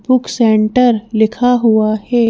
Book centre लिखा हुआ है।